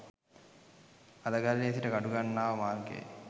අලගල්ලේ සිට කඩුගන්නාව මාර්ගයයි.